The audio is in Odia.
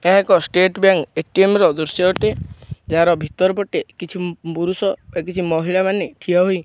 ଏହା ଏକ ଷ୍ଟେଟ ବ୍ୟାଙ୍କ୍ ଏ_ଟି_ଏମ୍ ଦୃଶ୍ୟ ଅଟେ ଯାହାର ଭିତର ପଟେ କିଛି ପୁରୁଷ ବା କିଛି ମହିଳା ମାନେ ଠିଆ ହୋଇ --